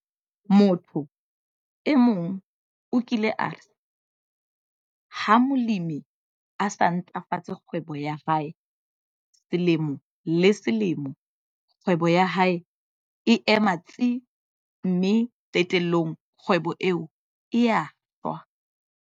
Motho e mong o kile a re 'ha molemi a sa ntlafatse kgwebo ya hae selemo le selemo, kgwebo ya hae e ema tsi, mme qetellong kgwebo eo e a shwa.'